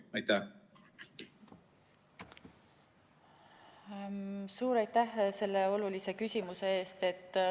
Suur aitäh selle olulise küsimuse eest!